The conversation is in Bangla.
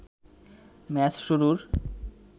ম্যাচ শুরুর